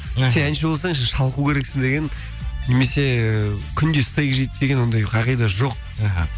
сен әнші болсаң сен шалқу керексің деген немесе күнде стейк жейді деген ондай қағида жоқ аха